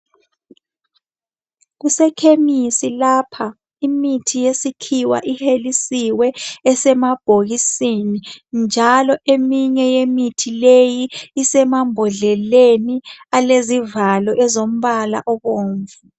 Kusekhemisi lapha, imithi yesikhiwa ihelisiwe, esemabhokisini, njalo eminye yemithi leyi isemambhodleleni alezivalo ezombala obomvu.